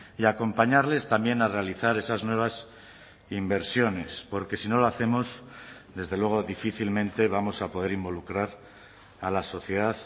y acompañarles también a realizar esas nuevas inversiones porque si no lo hacemos desde luego difícilmente vamos a poder involucrar a la sociedad